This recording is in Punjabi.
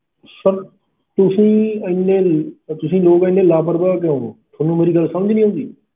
Sir ਤੁਸੀਂ ਇੰਨੇ, ਤੁਸੀਂ ਲੋਕ ਇੰਨੇ ਲਾਪਰਵਾਹ ਕਿਉਂ ਹੋ, ਥੋਨੂੰ ਮੇਰੀ ਗੱਲ ਸਮਝ ਨੀ ਆਉਂਦੀ।